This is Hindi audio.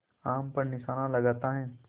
आम पर निशाना लगाता है